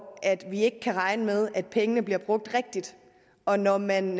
vi ikke kan regne med at pengene bliver brugt rigtigt og når man